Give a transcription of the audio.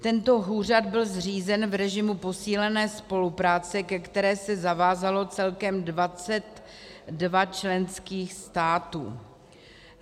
Tento úřad byl zřízen v režimu posílené spolupráce, ke které se zavázalo celkem 22 členských států.